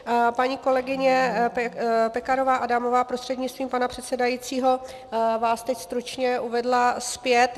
Paní kolegyně Pekarová Adamová prostřednictvím pana předsedajícího vás teď stručně uvedla zpět.